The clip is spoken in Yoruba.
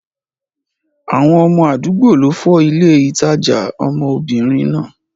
Àwọn ọmọ àdúgbò ló fọ́ ilé ìtajà obìnrin náà.